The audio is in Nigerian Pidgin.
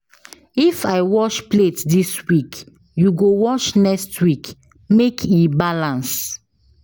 If I wash plate dis week, you go wash next neek make e balance.